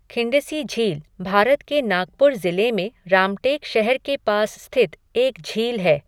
खिंडसी झील भारत के नागपुर ज़िले में रामटेक शहर के पास स्थित एक झील है।